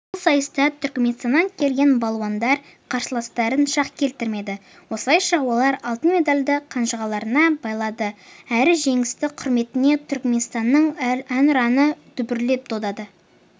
бұл сайыста түркменстаннан келген балуандар қарсыластарын шақ келтірмеді осылайша олар алтын медальды қанжығаларына байлады әрі жеңістің құрметіне түркменстанның әнұраны дүбірлі дода